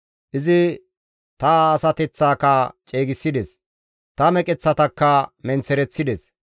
Izi ta asateththaaka ceegissides; ta meqeththatakka menththereththides.